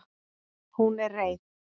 Hún er reið.